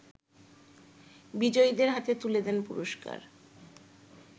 বিজয়ীদের হাতে তুলে দেন পুরষ্কার